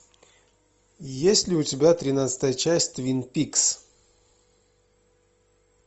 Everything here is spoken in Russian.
есть ли у тебя тринадцатая часть твин пикс